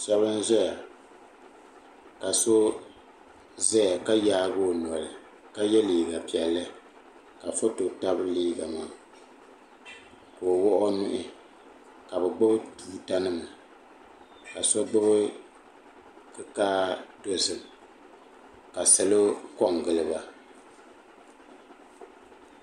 shɛba n-ʒeya ka so zaya ka yaagi o noli ka ye liiga piɛlli ka foto tabi liiga maa ka o wuɣi o nuhi ka bɛ gbubi tuuta nima ka so gbubi kikaa dozim ka salo kɔŋ gili ba.